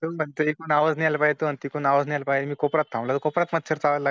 मध्ये एक नाव घ्याय. ला पाहिजे होती कोपरात आहेला पाहतो आणि तिथून मच्छर चावला लागेल म्हणजे एक नाव घ्याय